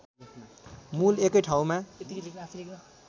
मूल एकै ठाउँमा